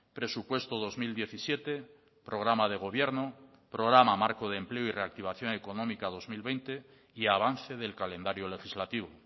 presupuesto dos mil diecisiete programa de gobierno programa marco de empleo y reactivación económica dos mil veinte y avance del calendario legislativo